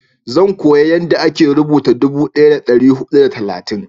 zan koya yanda a ke rubuta dubu daya da dari hudu da talatin